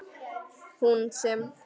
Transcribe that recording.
Hún sem.